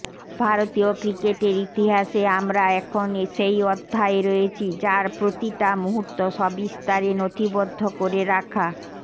ভারতীয় ক্রিকেটের ইতিহাসে আমরা এখন সেই অধ্যায়ে রয়েছি যার প্রতিটা মুহূর্ত সবিস্তারে নথিবদ্ধ করে রাখা